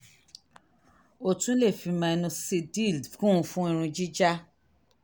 o tún lè fi minoxidil kún un fún irun jíjá